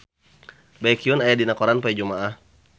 Baekhyun aya dina koran poe Jumaah